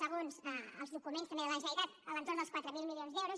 segons els documents també de la generalitat a l’entorn dels quatre mil milions d’euros